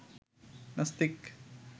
নাস্তিক